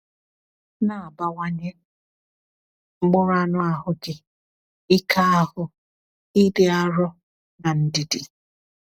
Na-abawanye mkpụrụ anụ ahụ gị, ike ahụ, ịdị arọ, na ndidi.